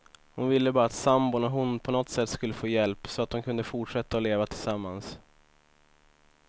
Hon ville bara att sambon och hon på något sätt skulle få hjälp, så att de kunde fortsätta att leva tillsammans.